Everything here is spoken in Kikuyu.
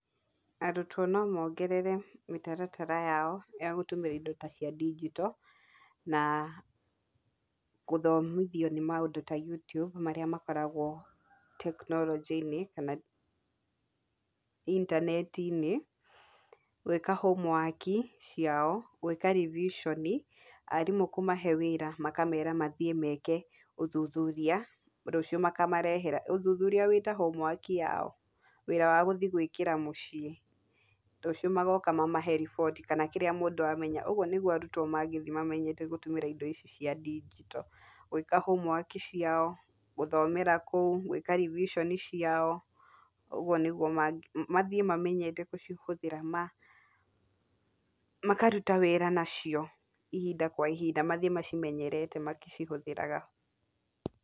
Arũtwo no mongerere mĩtaratara yao ya gũtũmĩra indo ta cia ndigito, na gũthomithio nĩ maũndũ ta Youtube marĩa makoragwo teknorojĩ-inĩ kana intaneti-inĩ, gwĩka hũmuwaki ciao, gwĩka revision arimũ kũmahe wĩra makamera mathiĩ meke ũthũthũria rũciũ makamarehera ũthũthũria wĩta hũmuwaki yao, wĩra wa gũthiĩ gwĩkira mũciĩ , rũciũ magoka mamahe riboti kana kĩrĩa mũndũ amenya, ũgũo nĩgũo arũtwo magĩthiĩ mamenye gũtũmĩra indo ici cia ndigito, gwĩka hũmuwaki ciao, gũthomera kũu , gwĩka revision ciao, ũgũo nĩgũo mathiĩ mamenyete gũcihũthĩra ma makaruta wĩra nacio ihinda kwa ihinda mathiĩ macimenyerete makĩcihũthĩraga.